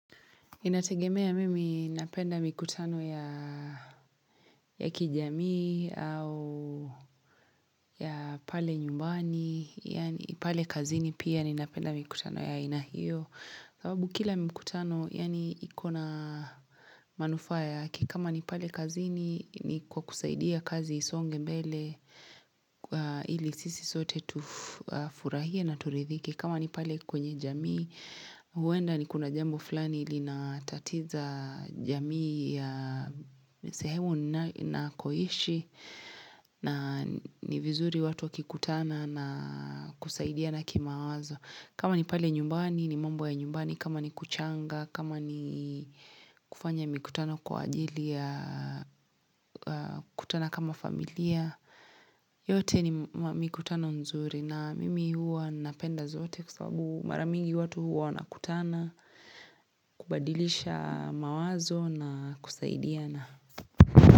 Inategemea mimi napenda mikutano ya kijamii au ya pale nyumbani, yaani pale kazini pia ninapenda mikutano ya aina hio. Sababu kila mikutano yaani iko na manufaa yake kama ni pale kazini ni kwa kusaidia kazi isonge mbele ili sisi sote tufurahie na turidhike. Kama ni pale kwenye jamii, huenda niko na jambo fulani linatatiza jamii ya sehemu nakoishi na ni vizuri watu wakikutana na kusaidiana kimawazo. Kama ni pale nyumbani ni mambo ya nyumbani, kama ni kuchanga, kama ni kufanya mikutano kwa ajili ya kukutana kama familia, yote ni mikutano nzuri na mimi huwa napenda zote kwa sababu mara mingi watu huwa wanakutana, kubadilisha mawazo na kusaidiana.